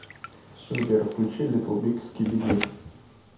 сбер включи литтл биг скиби ди